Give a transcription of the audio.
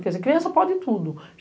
Quer dizer, criança pode tudo.